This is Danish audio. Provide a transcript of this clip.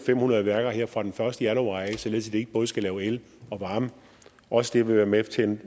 fem hundrede værker her fra den første januar således ikke både skal lave el og varme også det vil være med til